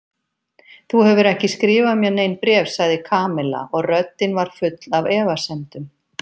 Þú hefur ekki skrifað mér nein bréf sagði Kamilla og röddin var full af efasemdum.